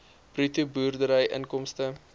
bruto boerdery inkomste